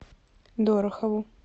дорохову